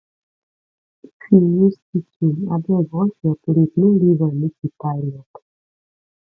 if you use kitchen abeg wash your plate no leave am make e pile up